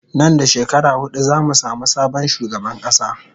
Nan da shekara hudu zamu samu sabon shugaban kasa